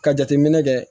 Ka jateminɛ kɛ